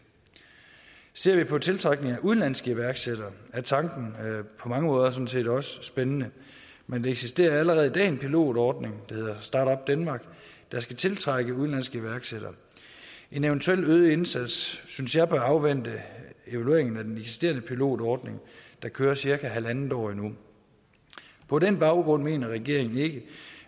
ser vi på tiltrækningen af udenlandske iværksættere er tanken på mange måder sådan set også spændende men der eksisterer allerede i dag en pilotordning der hedder start up denmark der skal tiltrække udenlandske iværksættere en eventuel øget indsats synes jeg bør afvente evalueringen af den eksisterende pilotordning der kører cirka halvandet år endnu på den baggrund mener regeringen ikke